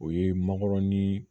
O ye mankɔrɔni